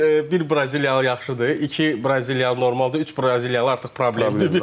Hə deyir bir Braziliyalı yaxşıdır, iki Braziliyalı normaldır, üç Braziliyalı artıq problemdir.